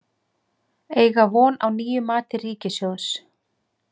Eiga von á nýju mati ríkissjóðs